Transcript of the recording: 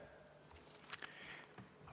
Aitäh!